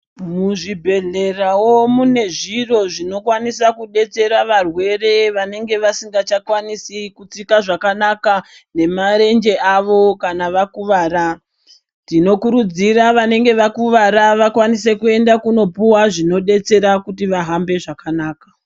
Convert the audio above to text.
Muzvibhedhlera wo mune zviro zvinokwanisa kubetsera varwere vanenge vasingachakwanisi kutsika zvakanaka nemarenje avo kana vakuvara. Tinokurudzira vanenge vakuvara vakwanise kuenda kunopuva zvinobetsera kuti vahamba zvakanaka.